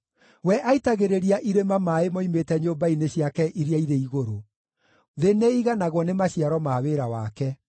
We aitagĩrĩria irĩma maaĩ moimĩte nyũmba-inĩ ciake iria irĩ igũrũ; thĩ nĩĩiganagwo nĩ maciaro ma wĩra wake.